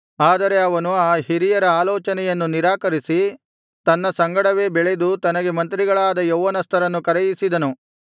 ಆದರೆ ಅವನು ಅ ಹಿರಿಯರ ಆಲೋಚನೆಯನ್ನು ನಿರಾಕರಿಸಿ ತನ್ನ ಸಂಗಡವೇ ಬೆಳೆದು ತನಗೆ ಮಂತ್ರಿಗಳಾದ ಯೌವನಸ್ಥರನ್ನು ಕರೆಯಿಸಿದನು